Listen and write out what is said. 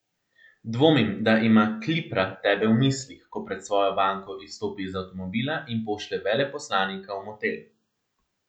Dvomim, da ima Klipra tebe v mislih, ko pred svojo banko izstopi iz avtomobila in pošlje veleposlanika v motel.